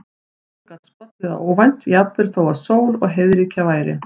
Hún gat skollið á óvænt, jafnvel þó að sól og heiðríkja væri.